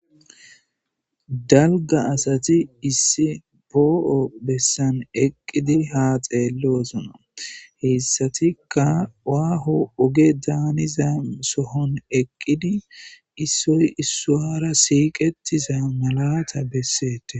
dalga asati issi poo'o bessan eqqidi ha xeellosona heessatika waaho oge daaniza sohon eqqidi issoy issaara siiqetiza malata bessetes